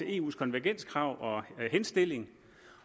eus konvergenskrav og henstilling